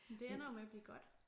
Jamen det ender jo med at blive godt